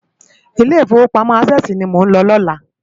Ilé Ifówópámò Ásèsi ni mó n ló lòlá